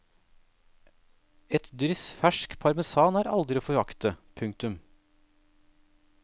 Et dryss fersk parmesan er aldri å forakte. punktum